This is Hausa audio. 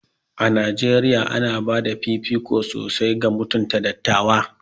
A Najeriya, ana ba da fifiko sosai ga mutunta dattawa.